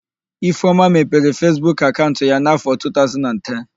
Ifeoma mepere Fesbuk akaụnt ya n'áfọ̀ 2010.